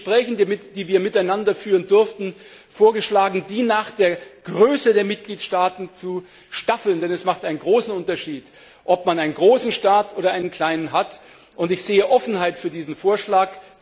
Ich habe in den Gesprächen, die wir miteinander führen durften, vorgeschlagen, sie nach der Größe der Mitgliedstaaten zu staffeln, denn es macht einen großen Unterschied, ob ein großer oder ein kleiner Staat beteiligt ist, und ich sehe Offenheit für diesen Vorschlag.